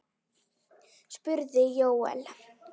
spurði Jóel.